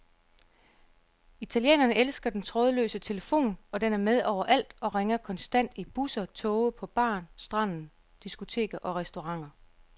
Italienerne elsker den trådløse telefon, og den er med overalt og ringer konstant i busser, toge, på bar, stranden, diskoteker og restauranter.